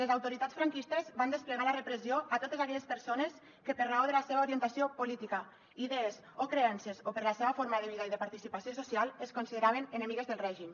les autoritats franquistes van desplegar la repressió a totes aquelles persones que per raó de la seva orientació política idees o creences o per la seva forma de vida i de participació social es consideraven enemigues del règim